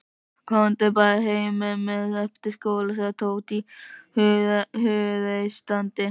Komdu bara heim með mér eftir skóla sagði Tóti hughreystandi.